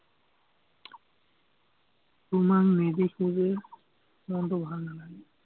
তোমাক নেদেখিলে, মনটো ভাল নালাগে।